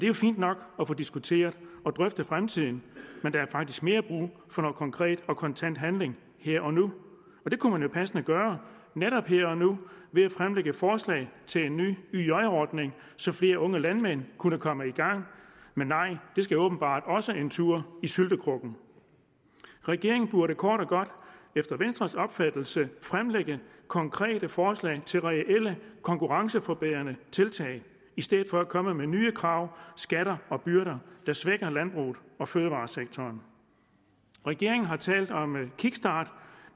jo fint nok at få diskuteret og drøftet fremtiden men der er faktisk mere brug for noget konkret og kontant handling her og nu og det kunne man jo passende gøre netop her nu ved at fremlægge et forslag til en ny yj ordning så flere unge landmænd kunne komme i gang men nej det skal åbenbart også en tur i syltekrukken regeringen burde kort og godt efter venstres opfattelse fremlægge konkrete forslag til reelle konkurrenceforbedrende tiltag i stedet for at komme med nye krav skatter og byrder der svækker landbruget og fødevaresektoren regeringen har talt om en kickstart